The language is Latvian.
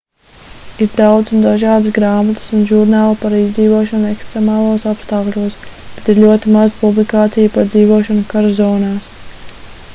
ir daudz un dažādas grāmatas un žurnāli par izdzīvošanu ekstremālos apstākļos bet ir ļoti maz publikāciju par dzīvošanu kara zonās